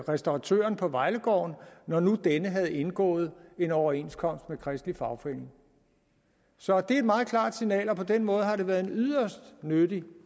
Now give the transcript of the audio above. restauratøren på vejlegården når nu denne havde indgået en overenskomst med kristelig fagforening så det er et meget klart signal og på den måde har det været en yderst nyttig